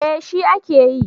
Eh shi a ke yi